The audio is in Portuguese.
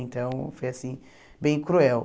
Então, foi assim, bem cruel.